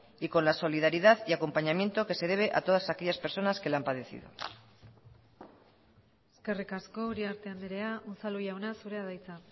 y con la solidaridad y acompañamiento que se debe a todas aquellas personas que la han padecido eskerrik asko uriarte andrea unzalu jauna zurea da hitza